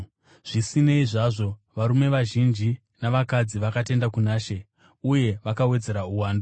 Zvisinei zvazvo, varume vazhinji navakadzi vakatenda kuna She uye vakawedzera uwandu.